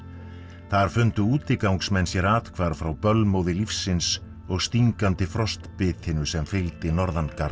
þar fundu útigangsmenn sér athvarf frá bölmóði lífsins og stingandi sem fylgdi